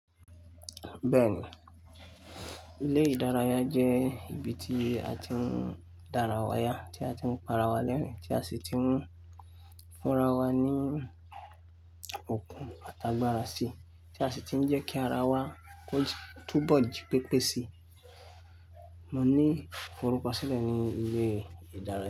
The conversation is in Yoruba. Bẹ́ẹ̀ni, ilé ìdárayá jẹ́ ibi tí a ti ń dára wa ya, tí a ti ń para wa lẹ́rin, tí a sì ti ń fúnra wa ní okun àtàgbàrà sí, tí a sì ti ń jẹ́ kí ara wa tun bọ̀ jí pépé sí. Mo ní ifòruko sílẹ̀ ní ilé ìdárayá.